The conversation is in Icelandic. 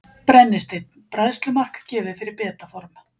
Brennisteinn: Bræðslumark gefið fyrir beta form.